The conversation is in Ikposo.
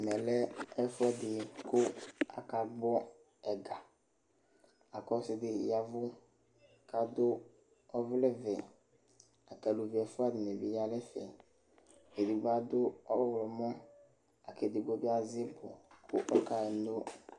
Ɛmɛ lɛ ɛfʋɛɖɩ ƙʋ aka gbɔ ɛgaAƙʋ ɔsɩ ɖɩ ƴavʋ ƙʋ adʋ ɔvlɛ vɛAluvi ɛfʋa ɖɩnɩ bɩ ƴa nʋ ɛfɛ ƙʋ aɖʋ ɔɣlɔmɔ akʋ eɖigbo bɩ azɛ ibu ƙʋ